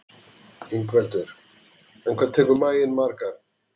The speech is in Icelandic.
Ingveldur: En hvað tekur maginn margar?